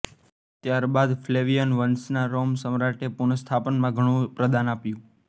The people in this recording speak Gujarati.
ત્યારબાદ ફ્લેવિયન વંશના રોમન સમ્રાટોએ પુનસ્થાપનામાં ઘણું પ્રદાન આપ્યું